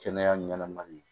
Kɛnɛya ɲanama min